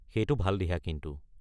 সেইটো ভাল দিহা কিন্তু।